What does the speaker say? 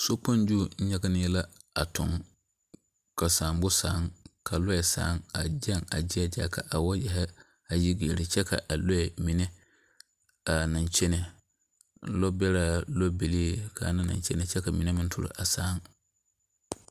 Sokpoŋ zu nyɛgenne la toŋ, ka saabo saaaŋ a gyɛŋ a zie zaa ka wɔɔyeɛre a yi leri kyɛ ka lɔɛ mine a naŋ kyɛne lɔɛ beɛraa, lɔɛ bilii ka ana naŋ kyɛne kyɛ ka mine aŋ saaŋ.